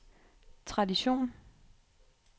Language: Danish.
tradition